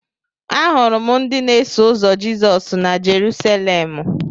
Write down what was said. Ahụrụ m ndị na-eso ụzọ Jizọs na Jerusalemụ.